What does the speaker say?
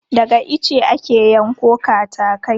Daga ice ake yanko katakai.